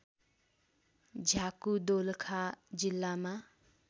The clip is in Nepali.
झ्याकु दोलखा जिल्लामा